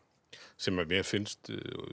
sem mér finnst